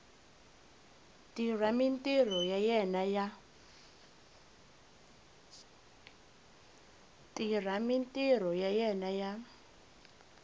tirha mintirho ya yena ya